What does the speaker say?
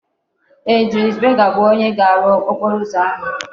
Ee, Julius Berger bu onye ga-aru okporo uzo ahu